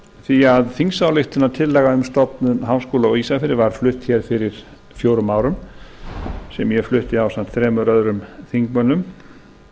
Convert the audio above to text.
því að þingsályktunartillaga um stofnun háskóla á ísafirði var flutt hér fyrir fjórum árum sem ég flutti ásamt þremur öðrum þingmönnum